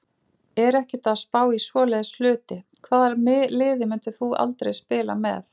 Er ekkert að spá í svoleiðis hluti Hvaða liði myndir þú aldrei spila með?